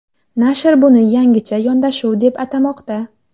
Nashr buni yangicha yondashuv deb atamoqda.